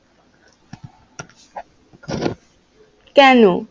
কেন?